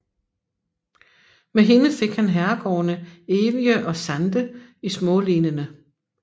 Med hende fik han herregårdene Evje og Sande i Smålenene